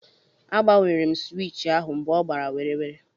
A gbanwere m sụwich ahụ mgbe ọ gbara werewere.